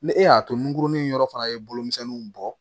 Ni e y'a to nunkurunin yɔrɔ fana ye bolomisɛnninw bɔ